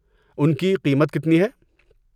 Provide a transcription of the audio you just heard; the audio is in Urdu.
ان کی قیمت کتنی ہے؟